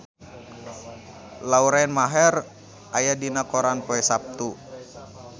Lauren Maher aya dina koran poe Saptu